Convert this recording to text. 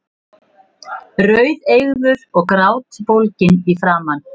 Rauðeygður og grátbólginn í framan.